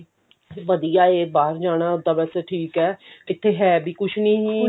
ਵਧੀਆ ਹੈ ਬਾਹਰ ਜਾਣਾ ਹੁਣ ਤਾਂ ਵੇਸੇ ਠੀਕ ਹੈ ਇੱਕਥੇ ਹੈ ਵੀ ਕੁਛ ਨੀ